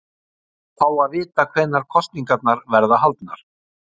Að fá að vita hvenær kosningarnar verða haldnar?